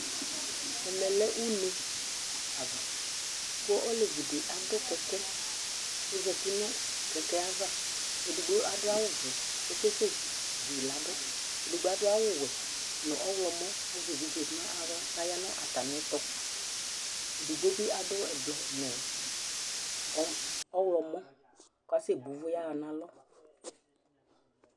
Ɛmɛ lɛ une ava kʋ olevi dɩ adʋ kɛkɛ kʋ ɔzati nʋ kɛkɛ yɛ ava Edigbo adʋ awʋvɛ kʋ ɔkasɛzu yɩ ladʋ Edigbo adʋ awʋwɛ nʋ ɔɣlɔmɔ Azɛ evidze nʋ aɣla kʋ aya nʋ atamɩɛtʋ Edigbo bɩ adʋ ɛblɔ nʋ ɔmɔ ɔɣlɔmɔ kʋ asɛbo ʋvʋ yaɣa nʋ alɔ